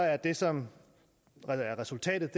er det som er resultatet